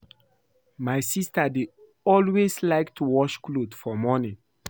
My sister dey always like to wash cloth for morning